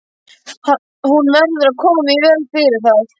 Hún verður að koma í veg fyrir það.